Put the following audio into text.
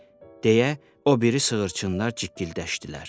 deyə o biri sığırçınlar cikgildəşdilər.